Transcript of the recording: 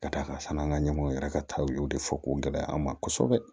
Ka d'a kan fana an ka ɲɛmɔw yɛrɛ ka taw y'o de fɔ k'o gɛlɛya an ma kosɛbɛ